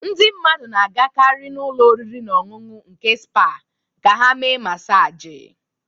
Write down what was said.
Ndị mmadụ na-agakarị n'ụlọ oriri na ọṅụṅụ nke spa ka ha mee masaji